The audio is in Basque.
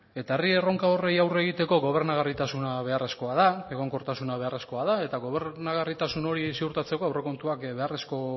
eta herri erronka horiei aurre egiteko gobernagarritasuna beharrezkoa da egonkortasuna beharrezkoa da eta gobernagarritasun hori ziurtatzeko aurrekontuak beharrezkoak